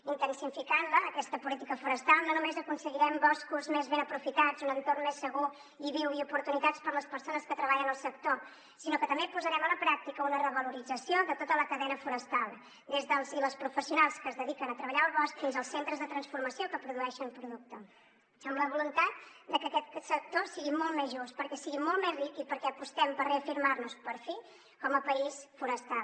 intensificant la aquesta política forestal no només aconseguirem boscos més ben aprofitats un entorn més segur i viu i oportunitats per a les persones que treballen al sector sinó que també posarem a la pràctica una revalorització de tota la cadena forestal des dels i les professionals que es dediquen a treballar el bosc fins als centres de transformació que produeixen producte amb la voluntat de que aquest sector sigui molt més just perquè sigui molt més ric i perquè apostem per reafirmar nos per fi com a país forestal